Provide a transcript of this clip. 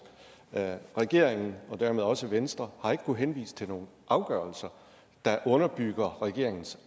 regeringen og dermed også venstre har ikke kunnet henvise til nogen afgørelser der underbygger regeringens